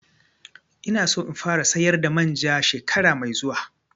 Ina so in fara sayar da manja shekara mai zuwa